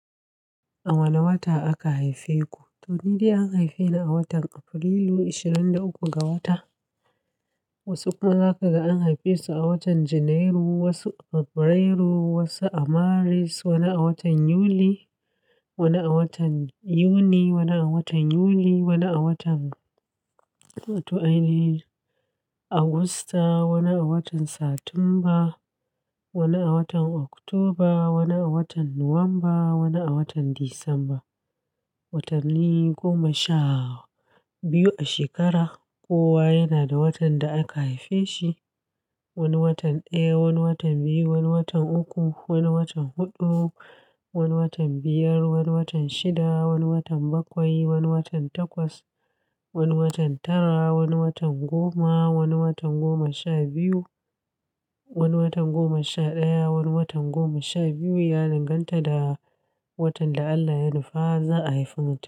A wane wata aka haife ku? To ni dai an haife ni a watan Afrilu, 23 ga wata. Wasu kuma za ka ga an haife su a watan Janairu, wasu a Fabrairu, wasu a Maris, wani a watan Yuli, wani a watan Yuni, wani a watan Yuli, wani a watan, to ai ne, Agusta, wani a watan Satumba, wani a watan Oktoba, wani a watan Nuwamba, wani a watan Disamba. Watanni goma sha biyu a shekara, kowa yana da watan da aka haife shi. Wani watan ɗaya, wani watan biyu, wani watan uku, wani watan huɗu, wani watan biyar, wani watan shida, wani watan bakwai, wani watan takwas, wani watan tara, wani watan goma, wani watan goma sha biyu, wani watan goma sha ɗaya, wani watan goma sha biyu ya danganta da watan da Allah ya nufa za a haifi mutum.